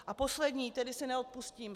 A poslední, které si neodpustím.